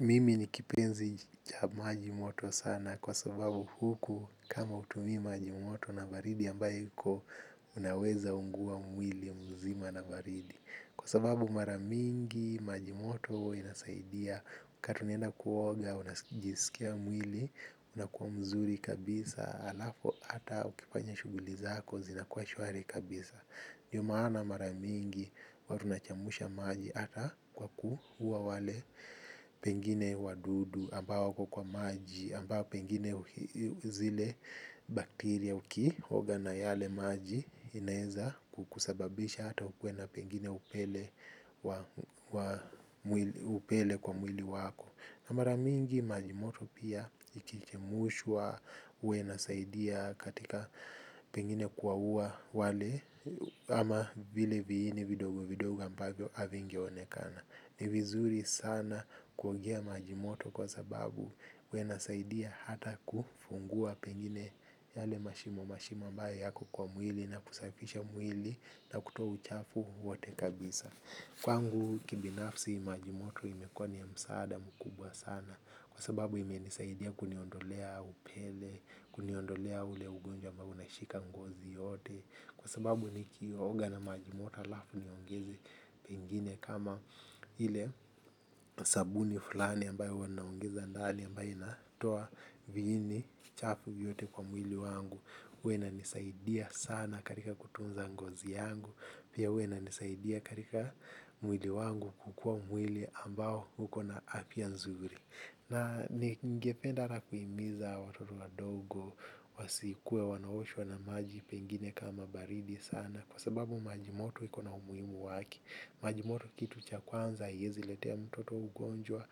Mimi ni kipenzi cha maji moto sana kwa sababu huku kama hutumii maji moto na baridi ambayo iko unaweza ungua mwili mzima na baridi. Kwa sababu mara mingi maji moto inasaidia wakati unaenda kuoga unajisikia mwili unakuwa mzuri kabisa halafu hata ukifanya shughuli zako zinakuwa shwari kabisa. Ndio maana mara mingi huwa tunachemsha maji hata kwa kuua wale pengine wadudu ambao wako kwa maji ambao pengine zile bacteria ukioga na yale maji inaweza kukusababisha hata na pengine upele wa upele kwa mwili wako mara mingi maji moto pia yaki chemshwa huwa yanasaidia katika pengine kuwaua wale ama vile viini vidogo vidogo ambavyo havinge onekana ni vizuri sana kuogea maji moto kwa sababu yana saidia hata kufungua pengine yale mashimo mashimo ambayo yako kwa mwili na kusafisha mwili na kutoa uchafu wote kabisa. Kwangu ki binafsi maji moto imekuwa ni msaada mkubwa sana kwa sababu ime nisaidia kuniondolea upele, kuniondolea ule ugonjwa ambao unashika ngozi yote kwa sababu nikioga na majimoto halafu niongeze vingine kama vile sabuni fulani ambayo wanaongeza ndani ambayo inatoa viini chafu yote kwa mwili wangu. Hua inanisaidia sana katika kutunza ngozi yangu pia huwa inisaidia katika mwili wangu kukua mwili ambao huko na afya nzuri na ningependa hata kuimiza watoto wadogo wasikue wanaoshwa na maji pengine kama baridi sana kwa sababu maji moto iko na umuhimu wake maji moto kitu cha kwanza haiwezi letea mtoto ugonjwa.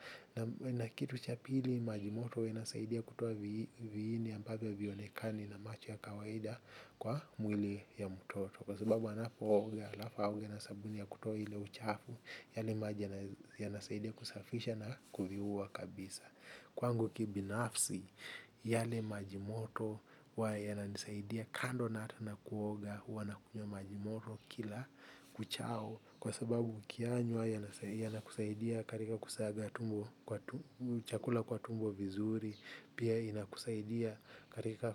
Na kitu cha pili maji moto inasaidia kutoa viini ambavyo havionekani na macho ya kawaida kwa mwili ya mtoto kwa sababu anapo oga halafu aoge na sabuni ya kutoa uchafu yale maji yale maji yanasaidia kusafisha na kuviua kabisa kwangu kibinafsi yale majimoto huwa yana nisaidia kando na hata na kuoga huwa na kunywa maji moto kila kuchao kwa sababu ukiyanywa yanakusaidia katika kusaga tumbo chakula kwa tumbo vizuri pia inakusaidia katika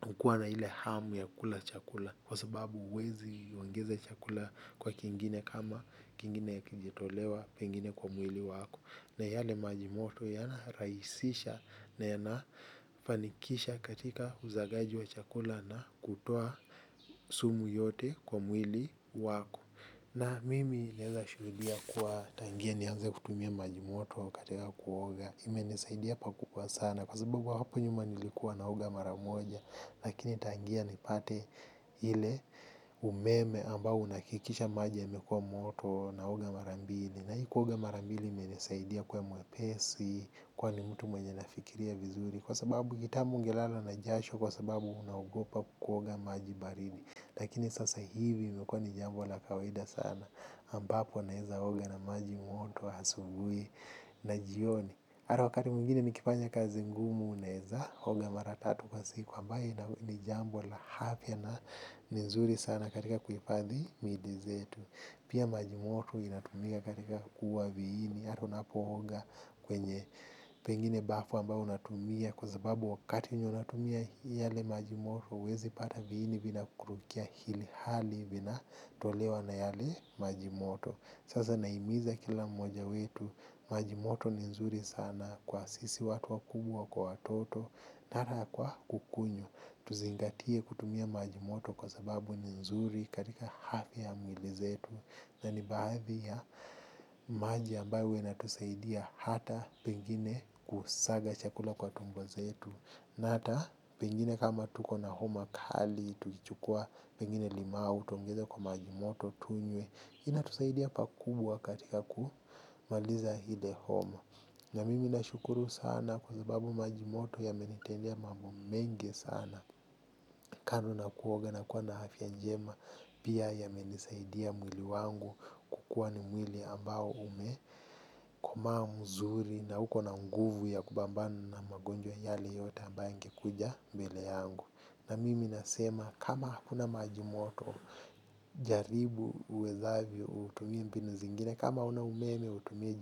kukua na ile hamu ya kula chakula kwa sababu huwezi ongeza chakula kwa kingine kama kingine hakijitolewa pengine kwa mwili wako na yale maji moto yana rahisisha yana fanikisha katika usagaji wa chakula na kutoa sumu yote kwa mwili wako na mimi naweza shuhudia kuwa tangia nianze kutumia maji moto wa katika kuoga ime nisaidia pakubwa sana kwa sababu hapo nyuma nilikuwa naoga mara moja lakini tangia nipate ile umeme ambao unakikisha maji yamekua moto naoga mara mbili na hii kuoga mara mbili ime nisaidia kuwa mwepesi, kwani mtu mwenye nafikiria vizuri kwa sababu kitamu ungelala na jasho kwa sababu unaogopa kuogopa kuoga maji baridi lakini sasa hivi imekua ni jambo la kawaida sana ambapo naweza oga na maji moto wa asubuhi na jioni. Ata wakati mingine nikifanya kazi ngumu naweza, oga maratatu kwa siku ambayo ni jambo la afya na ni nzuri sana katika kuhifadhi miili zetu. Pia majimoto inatumika katika kuua viini. Ata unapooga kwenye pengine bafu ambapo unatumia kwasababu wakati unatumia yale maji moto huwezi pata viini vina kurukia ili hali vina tolewa na yale maji moto. Sasa nahimiza kila mmoja wetu maji moto ni nzuri sana kwa sisi watu wa kubwa kwa watoto hata kwa kukunywa, tuzingatie kutumia majimoto kwa sababu ni nzuri katika afya ya mwili zetu. Na ni baadhii ya maji ambayo huwa yanatusaidia hata pengine kusaga chakula kwa tumbo zetu hata pengine kama tuko na homa kali, tukichukua pengine limao utaongeza kwa majimoto tunywe inatusaidia pakubwa katika kumaliza ile homa na mimi nashukuru sana kwasababu majimoto yamenitendea mambo mengi sana kando na kuoga na kua na afya njema pia ya menisaidia mwili wangu kukuwa ni mwili ambao ume komaaa mzuri na uuko na nguvu ya kupambana na magonjwa yale yote ambayo yangekuja mbele yangu. Na mimi nasema kama hakuna maji moto jaribu uwezavyo utumie mbinu zingine. Kama hauna umeme utumie.